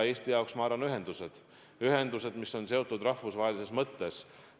Eesti jaoks, ma arvan, on olulised ühendused, mis on olulised ka rahvusvahelises mõttes.